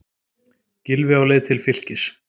Gylfi á leið til Fylkis